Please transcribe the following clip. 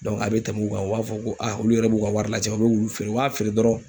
a be tɛmɛ u kan, u b'a fɔ ko olu yɛrɛ b'u ka wari lajɛ u be wulu feere. U b'a feere dɔrɔn